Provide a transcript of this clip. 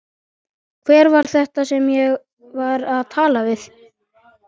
Hver var þetta sem ég var að tala við?